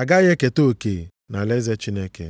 agaghị eketa oke nʼalaeze Chineke.